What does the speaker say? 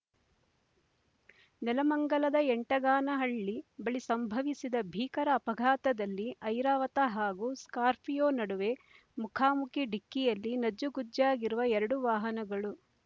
ನೆಲಮಂಗಲದ ಯಂಟಗಾನಹಳ್ಳಿ ಬಳಿ ಸಂಭವಿಸಿದ ಭೀಕರ ಅಪಘಾತದಲ್ಲಿ ಐರಾವತ ಹಾಗೂ ಸ್ಕಾರ್ಫಿಯೋ ನಡುವೆ ಮುಖಾಮುಖಿ ಡಿಕ್ಕಿಯಲ್ಲಿ ನಜ್ಜುಗುಜ್ಜಾಗಿರುವ ಎರಡು ವಾಹನಗಳು